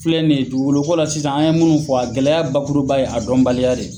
filɛ nin ye dugukolo ko la sisan an ye munnu fɔ a gɛlɛya bakuruba ye a dɔnbaliya de ye.